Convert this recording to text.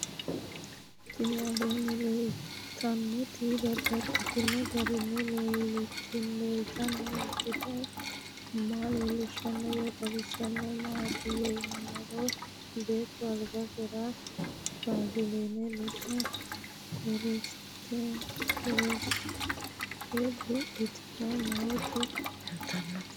Tinni aleenni leelittannotti babaxxittinno garinni leelittanno misile maa leelishshanno woy xawisannori maattiya yinummoro beetto alibbisera bazilinette ledo karisitte buudhatte nootti leelittanno